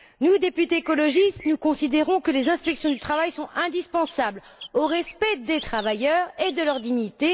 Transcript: Nous, députés écologistes, nous considérons que les inspections du travail sont indispensables au respect des travailleurs et de leur dignité.